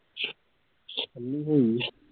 ਕਲ ਹੀ ਹੋਇਆ